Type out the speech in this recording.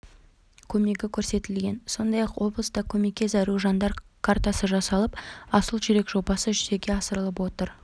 көмегі көрсетілген сондай-ақ облыста көмекке зәру жандар картасы жасалып асыл жүрек жобасы жүзеге асырылып жатыр